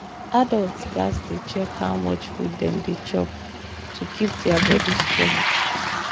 adults gats dey check how much food dem dey chop to keep their body strong.